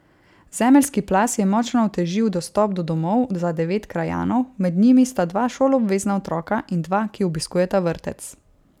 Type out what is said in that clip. Zemeljski plaz je močno otežil dostop do domov za devet krajanov, med njimi sta dva šoloobvezna otroka in dva, ki obiskujeta vrtec.